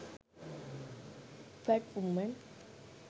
fat woman